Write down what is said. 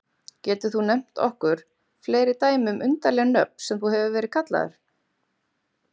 Getur þú nefnt okkur fleiri dæmi um undarleg nöfn sem þú hefur verið kallaður?